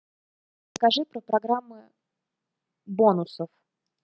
скажи про программы бонусов